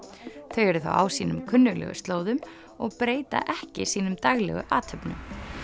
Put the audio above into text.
þau eru á sínum kunnuglegu slóðum og breyta ekki sínum daglegu athöfnum